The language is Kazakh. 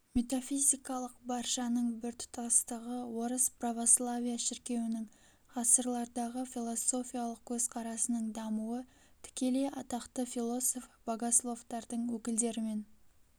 метафизикалық баршаның біртұтастығы орыс православия шіркеуінің ғасырлардағы философиялық көзқарасының дамуы тікелей атақты философ-богословтардың өкілдерімен